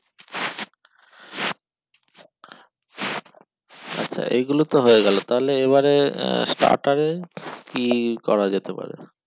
এই গুলো তো হয়ে গেল তাহলে এবারে starter এ কি করা যেতে পারে